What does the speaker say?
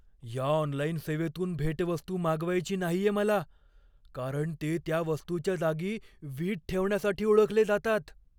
या ऑनलाईन सेवेतून भेटवस्तू मागवायची नाहीये मला, कारण ते त्या वस्तूच्या जागी वीट ठेवण्यासाठी ओळखले जातात.